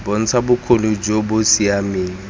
bontsha bokgoni jo bo siameng